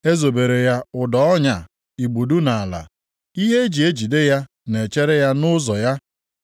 E zobere ya ụdọ ọnya igbudu nʼala, ihe e ji ejide ya na-echere ya nʼụzọ ya.